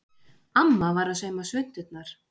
Amma var að sauma svunturnar.